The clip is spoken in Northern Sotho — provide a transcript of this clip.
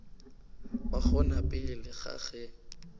ba gona pele ga ge